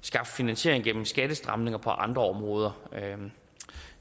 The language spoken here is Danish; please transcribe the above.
skaffe finansiering gennem skattestramninger på andre områder